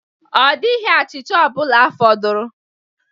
Ọ dịghị achịcha ọ bụla fọdụrụ.